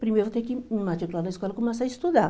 Primeiro vou ter que me matricular na escola e começar a estudar.